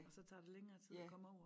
Og så tager det længere tid at komme over